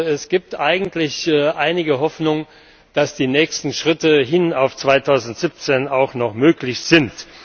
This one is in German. Es gibt eigentlich einige Hoffnung, dass die nächsten Schritte hin auf 2017 auch noch möglich sind.